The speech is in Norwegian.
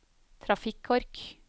trafikkork